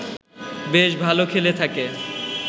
বেশ ভাল খেলে থাকে